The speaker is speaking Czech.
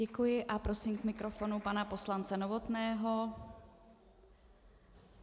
Děkuji a prosím k mikrofonu pana poslance Novotného.